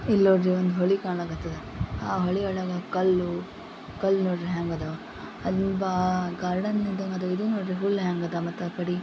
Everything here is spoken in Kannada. ಇಲ್ನೋಡ್ರಿ ಒಂದು ಹೊಳಿ ಕಾಣಾಕತ್ತದ. ಆ ಹೊಳಿ ಒಳಗ ಕಲ್ಲು ಕಲ್ಲು ನೋಡ್ರಿ ಹ್ಯಾಂಗ್ ಅದಾವ. ಅಲ್ಲಿ ಬಾ ಗಾರ್ಡನ್ ಇದೆ ಮತ್ತ ಇದು ನೋಡ್ರಿ ಹುಲ್ಲು ಹ್ಯಾಂಗ್ ಅದ ಮತ್ತ ಆ ಕಡಿ.